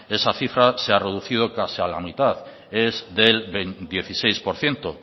esa cifra se ha reducido casi a la mitad es del dieciséis por ciento